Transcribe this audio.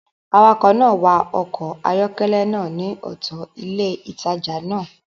Awakọ̀ náà wa ọkọ̀ ayọ́kẹ́lẹ́ náà ní ọ̀tọ̀ ilé ìtajà náà